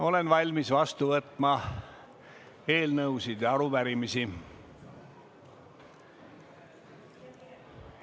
Olen valmis vastu võtma eelnõusid ja arupärimisi.